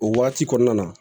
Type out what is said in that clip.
O waati kɔnɔna na